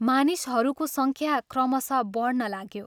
मानिसहरूको संख्या क्रमशः बढ्न लाग्यो।